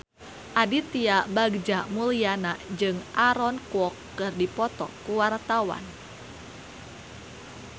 Aditya Bagja Mulyana jeung Aaron Kwok keur dipoto ku wartawan